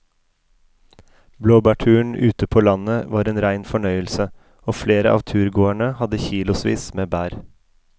Blåbærturen ute på landet var en rein fornøyelse og flere av turgåerene hadde kilosvis med bær.